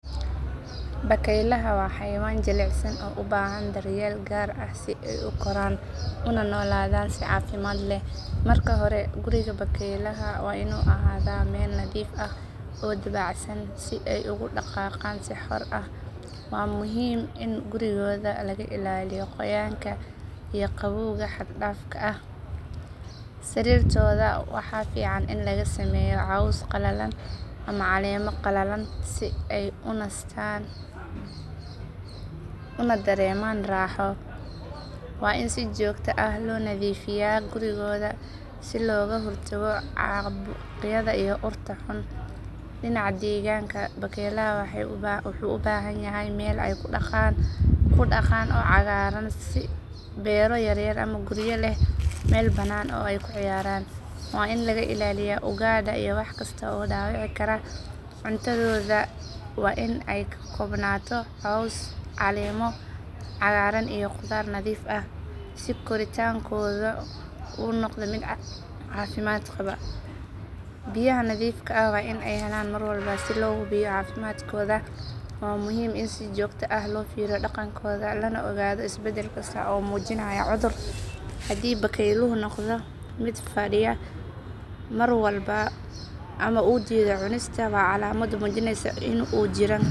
Bakaylaha waa xayawaan jilicsan oo u baahan daryeel gaar ah si ay u koraan una noolaadaan si caafimaad leh. Marka hore, guriga bakaylaha waa inuu ahaadaa meel nadiif ah oo dabacsan si ay ugu dhaqaaqaan si xor ah. Waa muhiim in gurigooda laga ilaaliyo qoyaanka iyo qabowga xad dhaafka ah. Sariirtooda waxaa fiican in laga sameeyo caws qalalan ama caleemo qalalan si ay u nastaan una dareemaan raaxo. Waa in si joogto ah loo nadiifiyaa gurigooda si looga hortago caabuqyada iyo urta xun. Dhinaca deegaanka, bakaylaha waxay u baahan yihiin meel ay ku daaqaan oo cagaaran, sida beero yaryar ama guryo leh meel banaan oo ay ku ciyaaraan. Waa in laga ilaaliyaa ugaadha iyo wax kasta oo dhaawici kara. Cuntadooda waa in ay ka koobnaato caws, caleemo cagaaran iyo khudaar nadiif ah si koritaankooda u noqdo mid caafimaad qaba. Biyaha nadiifka ah waa in ay helaan mar walba. Si loo hubiyo caafimaadkooda, waa muhiim in si joogto ah loo fiiriyo dhaqankooda lana ogaado isbeddel kasta oo muujinaya cudur. Haddii bakayluhu noqdo mid fadhiya mar walba ama uu diido cunista, waa calaamad muujinaysa in uu jiran karo. In la siiyo daryeel joogto ah iyo deegaanka ku habboon waxay horseedaysaa koritaan wanaagsan iyo nolol caafimaad leh oo bakaylaha ah.